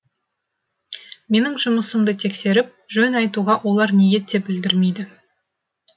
менің жұмысымды тексеріп жөн айтуға олар ниет те білдірмейді